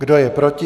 Kdo je proti?